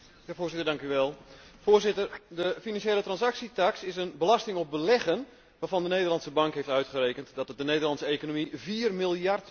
Voorzitter, de financiële transactietaks is een belasting op beleggen waarvan de Nederlandsche Bank heeft uitgerekend dat het de Nederlandse economie vier miljard per jaar gaat kosten.